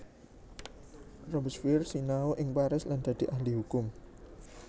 Robespierre sinau ing Paris lan dadi ahli hukum